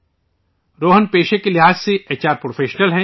روہن پیشے کے لحاظ سے ایچ آر پروفیشنل ہیں